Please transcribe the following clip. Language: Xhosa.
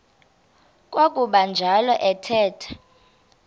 kwakuba njalo athetha